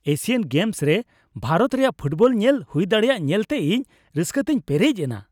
Asian Games ᱨᱮ ᱵᱷᱟᱨᱚᱛ ᱨᱮᱭᱟᱜ football ᱧᱮᱞ ᱦᱩᱭ ᱫᱟᱲᱮᱭᱟᱜ ᱧᱮᱞᱛᱮ ᱤᱧ ᱨᱟᱹᱥᱠᱟᱹᱛᱮᱧ ᱯᱮᱨᱮᱡ ᱞᱮᱱᱟ ᱾